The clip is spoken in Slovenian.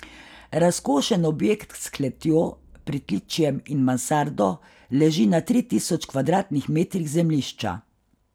Razkošen objekt s kletjo, pritličjem in mansardo leži na tri tisoč kvadratnih metrih zemljišča.